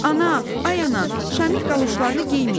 Ana, ay ana, Şamil qaloşlarını geyməyib.